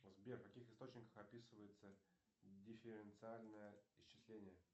сбер в каких источниках описывается дифференциальное исчисление